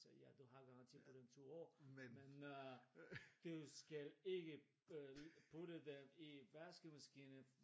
sagde ja du har garanti på den i 2 år men øh du skal ikke øh putte den i vaskemaskinen